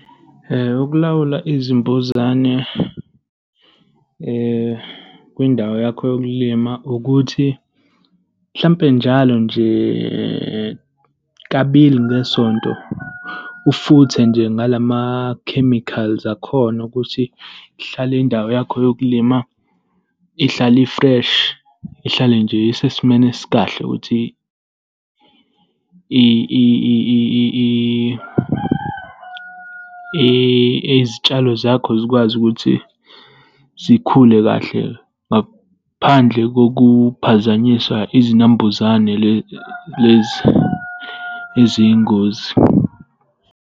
Ukulawula izimbuzane kwindawo yakho yokulima ukuthi mhlampe njalo nje, kabili ngesonto, ufuthe nje ngala ma-chemicals akhona ukuthi ihlale indawo yakho yokulima ihlale i-fresh. Ihlale nje isesimeni esikahle ukuthi izitshalo zakho zikwazi ukuthi zikhule kahle ngaphandle kokuphazanyiswa izinambuzane lezi eziyingozi.